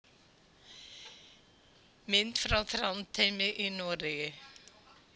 Mynd frá Þrándheimi í Noregi.